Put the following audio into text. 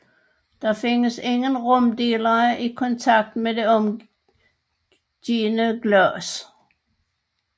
Der findes ingen rumdelere i kontakt med det omgivende glas